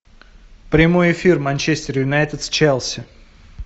прямой эфир манчестер юнайтед с челси